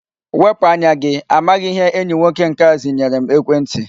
Wepụ anya gi! Amaghị m ihe enyi nwoke nke a ziyere m ekwentị!